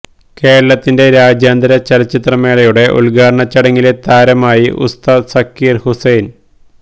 കേരളത്തിന്റെ രാജ്യാന്തര ചലച്ചിത്ര മേളയുടെ ഉദ്ഘാടനച്ചടങ്ങിലെ താരമായി ഉസ്താദ് സക്കീര് ഹുസൈന്